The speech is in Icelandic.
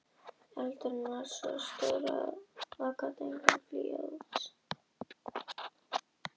Ekki verða leiddar líkur að því að tvær eða fleiri heimildir tilnefni Jón